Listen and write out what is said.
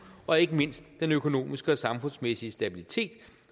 og ikke mindst den økonomiske og samfundsmæssige stabilitet